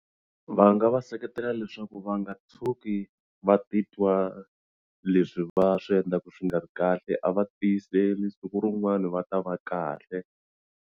Va nga va seketela leswaku va nga tshuki va titwa leswi va swi endlaku swi nga ri kahle a va tiyiseli siku rin'wani va ta va kahle.